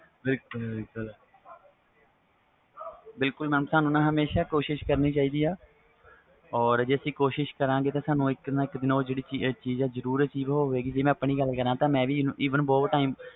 ਬਿਲਕੁਲ mam ਸਾਨੂੰ ਨਾ ਕੋਸਿਸ ਕਰਨੀ ਚਾਹੀਦੀ ਵ ਜੇ ਅਸੀਂ ਕੋਸਿਸ ਕਰਾ ਗੇ ਤਾ ਇਕ ਨਾ ਇਕ ਦਿਨ ਉਹ ਜਿਹੜੀ ਚੀਜ਼ ਵ ਹੋਵੇ ਗੀ ਜੇ ਮੈਂ ਆਪਣੀ ਗੱਲ ਕਰਾ ਤਾ eve ਮੈਂ ਵੀ ਬਹੁਤ time